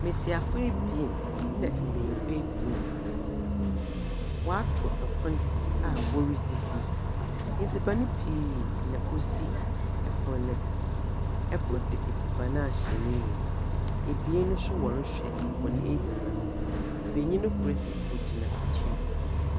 Mbesiafo ebien na mbenyimfo ebien. Wɔato pon a woridzidzi. Edziban pii na osi pon no do. Kor dze edziban ahyɛ n'enum. Ebien no nso wɔrehwɛ hɔn edziban mu. Benyin kor dze, ogyina ekyir.